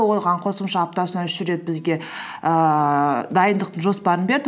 оған қосымша аптасына үш рет бізге ііі дайындықтың жоспарын берді